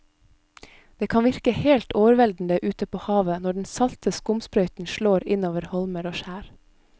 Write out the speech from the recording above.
Det kan virke helt overveldende ute ved havet når den salte skumsprøyten slår innover holmer og skjær.